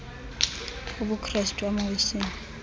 ubukrestu ama wesile